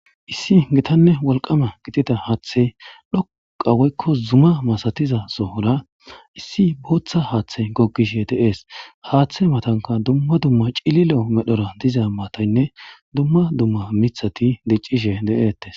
Issi gitanne walqama gitida haaththe dhoqa woykko zuma masatiza sohora issi booththa haaththe gogishe deees haaththe matanka dumma dumma cililo medhora diza mataynne dumma dumma mithati diccishe de7eettes